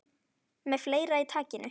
Með fleira í takinu